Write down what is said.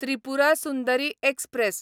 Tripura Sundari express